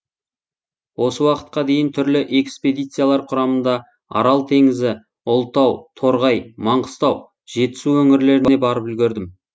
осы уақытқа дейін түрлі экспедициялар құрамында арал теңізі ұлытау торғай маңғыстау жетісу өңірлеріне барып үлгердім